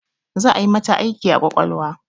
Za'a yi mata aiki a ƙwaƙwalwa